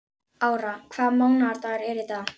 Ára, hvaða mánaðardagur er í dag?